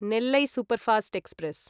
Nellai superfast express